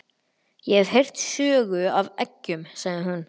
Ég hef heyrt sögu af eggjum, sagði hún.